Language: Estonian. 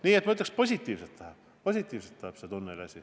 Nii et ma ütleks, et see tunneliasi läheb positiivselt.